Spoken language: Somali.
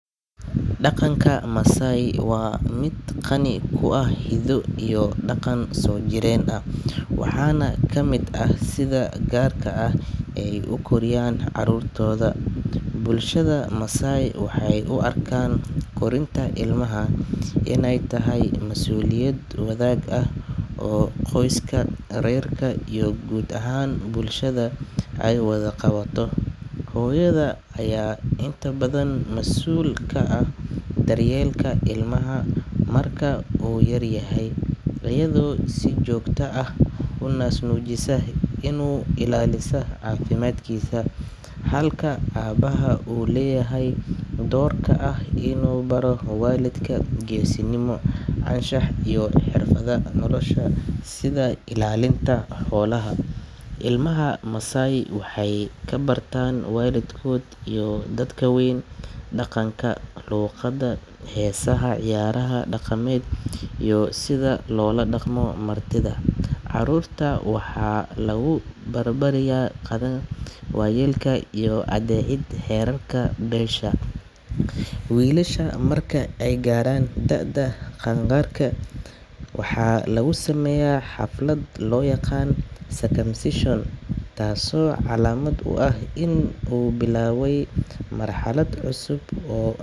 Dhaqanka Masai waa mid qani ku ah hiddo iyo dhaqan soo jireen ah, waxaana ka mid ah sida gaarka ah ee ay u koriiyaan carruurtooda. Bulshada Masai waxay u arkaan korinta ilmaha inay tahay masuuliyad wadaag ah oo qoyska, reerka iyo guud ahaan bulshada ay wada qabato. Hooyada ayaa inta badan mas’uul ka ah daryeelka ilmaha marka uu yar yahay, iyadoo si joogto ah u naas nuujisa una ilaalisa caafimaadkiisa, halka aabaha uu leeyahay doorka ah inuu baro wiilka geesinimo, anshax iyo xirfadaha nolosha sida ilaalinta xoolaha. Ilmaha Masai waxay ka bartaan waalidkood iyo dadka waaweyn dhaqanka, luqadda, heesaha, ciyaaraha dhaqameed iyo sida loola dhaqmo martida. Carruurta waxaa lagu barbaariyaa qadarin waayeelka iyo adeecid xeerarka beesha. Wiilasha marka ay gaaraan da’da qaangaarka, waxaa lagu sameeyaa xaflad loo yaqaan circumcision taasoo calaamad u ah in uu bilaabay marxalad cusub oo.